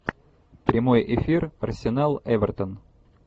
прямой эфир арсенал эвертон